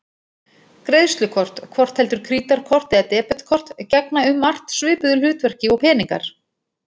Greiðslukort, hvort heldur krítarkort eða debetkort, gegna um margt svipuðu hlutverki og peningar.